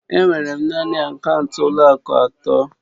Enwere m naanị akaụntụ ụlọ akụ atọ